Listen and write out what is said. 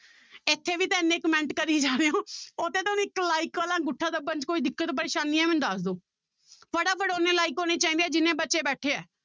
ਇੱਥੇ ਵੀ ਤਾਂ ਇੰਨੇ comment ਕਰੀ ਜਾਂਦੇ ਹੋ ਇੱਕ like ਵਾਲਾ ਅੰਗੂਠਾ ਦੱਬਣ 'ਚ ਕੋਈ ਦਿੱਕਤ ਪਰੇਸਾਨੀ ਹੈ ਮੈਨੂੰ ਦੱਸ ਦਓ ਫਟਾਫਟ ਓਨੇ like ਹੋਣੇ ਚਾਹੀਦੇ ਹੈ ਜਿੰਨੇ ਬੱਚੇ ਬੈਠੇ ਹੈ।